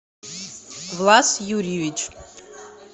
влас юрьевич